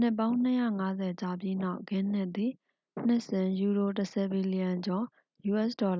နှစ်ပေါင်း ၂၅၀ ကြာပြီးနောက် ဂင်းနစ်သည် နှစ်စဉ်ယူရို ၁၀ ဘီလျံကျော် us$၁